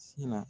Sin na